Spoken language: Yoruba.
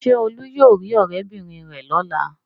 Ṣé Olú yóò rí ọ̀rẹ́bìnrin rẹ̀ lọ́la?